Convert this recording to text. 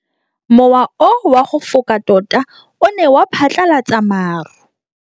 Mowa o wa go foka tota o ne wa phatlalatsa maru.